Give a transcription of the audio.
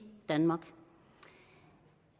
danmark